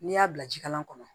N'i y'a bila ji kala kɔnɔ